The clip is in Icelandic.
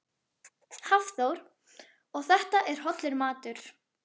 Hafþór: Og þetta er hollur matur?